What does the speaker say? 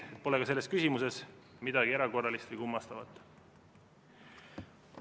Nii et pole selles küsimuses ka midagi erakorralist või kummastavat.